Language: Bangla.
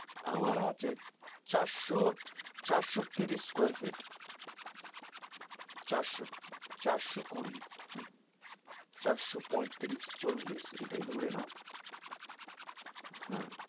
আমার আছে চারশো চারশো তিরিশ square feet চারশো চারশো কুড়ি চারশো পঁয়তিরিশ চল্লিশ এটাই ধরে নাও হে